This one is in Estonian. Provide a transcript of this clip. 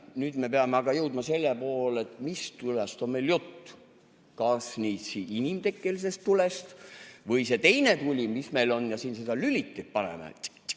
Nüüd me peame aga jõudma selle juurde, et mis tulest on meil jutt, kas inimtekkelisest tulest või sellest teisest tulest, mis meil on ja mida me siit sellest lülitist põlema paneme tsikk-tsikk.